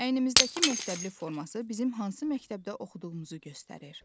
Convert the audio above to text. Əynimizdəki məktəbli forması bizim hansı məktəbdə oxuduğumuzu göstərir.